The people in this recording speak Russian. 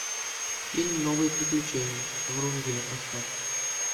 фильм новые приключения врунгеля поставь